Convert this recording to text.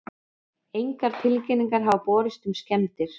Engar tilkynningar hafa borist um skemmdir